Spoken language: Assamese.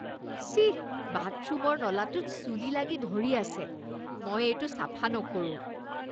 চিঃ! বাথৰুমৰ নলাটোত চুলি লাগি ধৰি আছে। মই এইটো চাফা নকৰোঁ।